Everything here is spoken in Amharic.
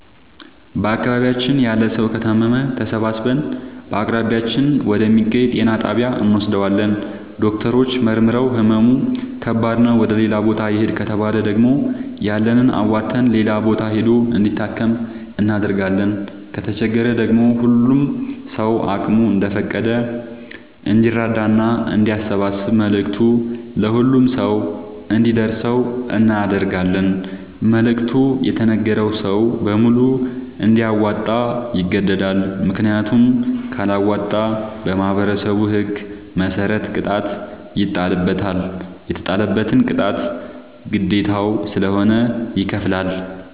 በአካባቢያችን ያለ ሠዉ ከታመመ ተሠባስበን በአቅራቢያችን ወደ ሚገኝ ጤና ጣቢያ እንወስደዋለን። ዶክተሮች መርምረዉ ህመሙ ከባድ ነዉ ወደ ሌላ ቦታ ይህድ ከተባለ ደግሞ ያለንን አዋተን ሌላ ቦታ ሂዶ እንዲታከም እናደርጋለን። ከተቸገረ ደግሞ ሁሉም ሰዉ አቅሙ እንደፈቀደ እንዲራዳና አንዲያሰባስብ መልዕክቱ ለሁሉም ሰው አንዲደርሰው እናደርጋለን። መልዕክቱ የተነገረዉ ሰዉ በሙሉ እንዲያወጣ ይገደዳል። ምክንያቱም ካለወጣ በማህበረሠቡ ህግ መሰረት ቅጣት ይጣልበታል። የተጣለበትን ቅጣት ግዴታዉ ስለሆነ ይከፍላል።